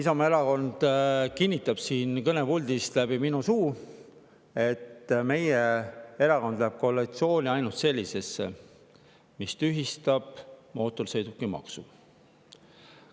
Isamaa Erakond kinnitab siit kõnepuldist läbi minu suu, et meie erakond läheb ainult sellisesse koalitsiooni, mis tühistab mootorsõidukimaksu.